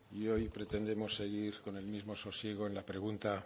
y hoy pretendemos seguir con el mismo sosiego en la pregunta